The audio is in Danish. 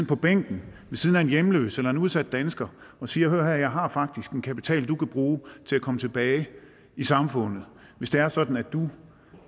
på bænken ved siden af en hjemløs eller en udsat dansker og siger hør her jeg har faktisk en kapital som du kan bruge til at komme tilbage i samfundet hvis det er sådan at du